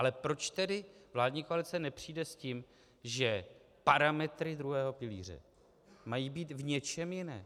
Ale proč tedy vládní koalice nepřijde s tím, že parametry druhého pilíře mají být v něčem jiném?